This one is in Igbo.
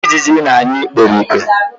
Iji na-anyụ ikperipke